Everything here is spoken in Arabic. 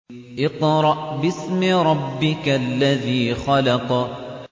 اقْرَأْ بِاسْمِ رَبِّكَ الَّذِي خَلَقَ